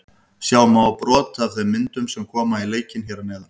Sjá má brot af þeim myndum sem koma í leikinn hér að neðan.